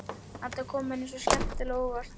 Þetta kom henni svo skemmtilega á óvart.